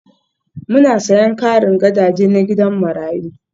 Muna sayen karin gadaje na gidan marayu